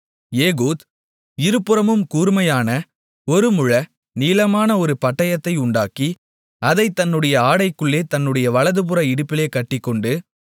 Ehud இருபுறமும் கூர்மையான ஒரு முழ நீளமுமான ஒரு பட்டயத்தை உண்டாக்கி அதைத் தன்னுடைய ஆடைக்குள்ளே தன்னுடைய வலதுபுற இடுப்பிலே கட்டிக்கொண்டு